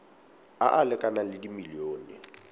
a a lekanang le dimilione